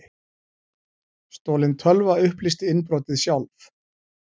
Stolin tölva upplýsti innbrotið sjálf